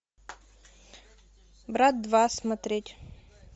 брат два смотреть